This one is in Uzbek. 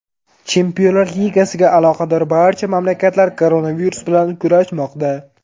Chempionlar Ligasiga aloqador barcha mamlakatlar koronavirus bilan kurashmoqda.